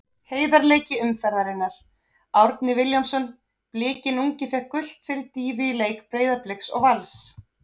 Heiðarleiki umferðarinnar: Árni Vilhjálmsson Blikinn ungi fékk gult fyrir dýfu í leik Breiðabliks og Vals.